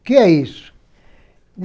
O que é isso?